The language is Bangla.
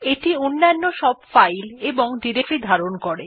এইটি অন্যান্য সব ফাইল এবং ডিরেক্টরী ধারণ করে